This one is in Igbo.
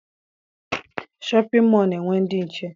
Shọpịn mọọ na_enwe ndị nche